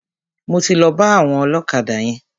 Mo ti lọ bá àwọn ọlọ́kadà yẹn.